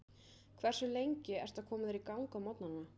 Hversu lengi ertu að koma þér í gang á morgnanna?